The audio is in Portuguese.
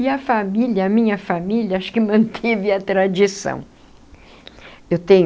E a família, a minha família, acho que manteve a tradição eu tenho